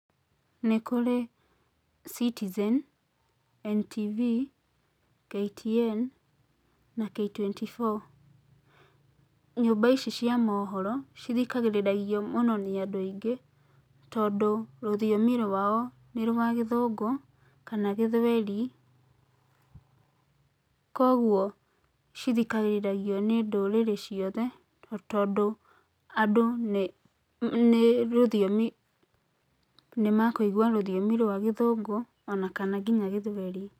Nĩ kũrĩ Citizen, NTV, KTN na K24. Nyũmba ici cia mohoro cithikagĩrĩrio mũnonĩ andũ aingĩ tondũ rũthiomi rwao nĩ rwa Gĩthũngũ kana Gĩthweri, kuoguo cithikagĩrĩrio nĩ ndũrĩrĩ ciothe tondũ andũ nĩ rũthiomi nĩ nĩamakũigua rũthiomi rwa Gĩthũngũ ona kana nginya Gĩthweri.